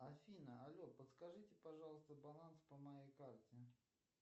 афина але подскажите пожалуйста баланс по моей карте